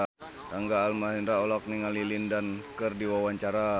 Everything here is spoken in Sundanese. Rangga Almahendra olohok ningali Lin Dan keur diwawancara